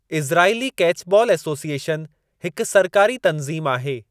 इसराईली catchball association हिक सरकारी तं‍ज़ीम आहे।